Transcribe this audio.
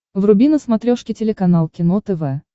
вруби на смотрешке телеканал кино тв